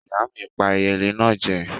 Ìyá mi pà eyelé náà jẹ.